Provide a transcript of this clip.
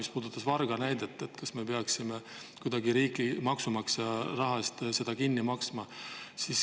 See puudutas vargaid ja seda, kas me peaksime seda riigi ja maksumaksja raha eest kuidagi kinni maksma?